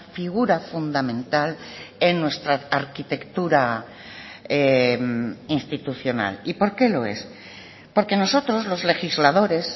figura fundamental en nuestra arquitectura institucional y por qué lo es porque nosotros los legisladores